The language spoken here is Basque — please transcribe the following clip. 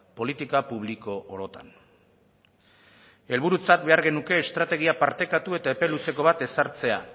politiko publiko orotan helburutzat behar genuke estrategia partekatu eta epe luzeko bat ezartzea